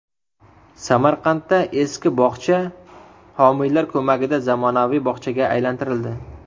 Samarqandda eski bog‘cha homiylar ko‘magida zamonaviy bog‘chaga aylantirildi.